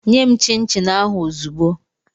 Nye m chịn chịn ahụ ozugbu!